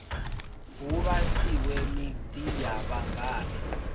hu vhasiwe miḓi ya vhangona